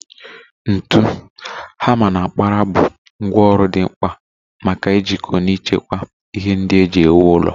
Ntu, hama, na mkpara bụ ngwá ọrụ dị mkpa maka ijikọ na ichekwa ihe ndị e ji ewu ụlọ